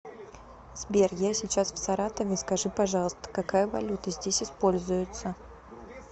сбер я сейчас в саратове скажи пожалуйста какая валюта здесь используется